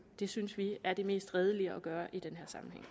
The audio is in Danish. det synes vi er det mest redelige at gøre i den